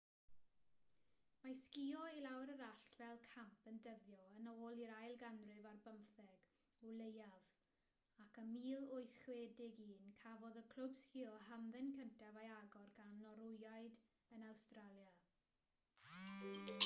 mae sgïo i lawr yr allt fel camp yn dyddio yn ôl i'r ail ganrif ar bymtheg o leiaf ac ym 1861 cafodd y clwb sgïo hamdden cyntaf ei agor gan norwyaid yn awstralia